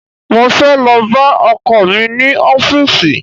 Mo fẹ́ lọ bá ọkọ̀ mi ní ọfísì